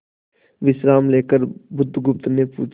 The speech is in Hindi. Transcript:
विश्राम लेकर बुधगुप्त ने पूछा